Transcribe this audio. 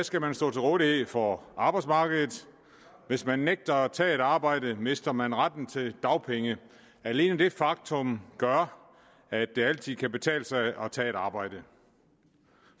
skal man stå til rådighed for arbejdsmarkedet hvis man nægter at tage et arbejde mister man retten til dagpenge alene det faktum gør at det altid kan betale sig at tage et arbejde